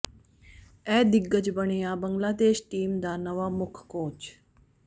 ਇਹ ਦਿੱਗਜ ਬਣਿਆ ਬੰਗਲਾਦੇਸ਼ ਟੀਮ ਦਾ ਨਵਾਂ ਮੁੱਖ ਕੋਚ